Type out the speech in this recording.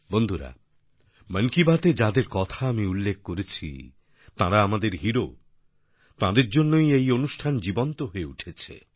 বন্ধুরা মন কি বাতএ যাদের কথা আমি উল্লেখ করেছি তাঁরা আমাদের হিরো তাঁদের জন্যই এই অনুষ্ঠান জীবন্ত হয়ে উঠেছে